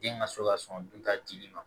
Den ka so ka sɔn dunta dili ma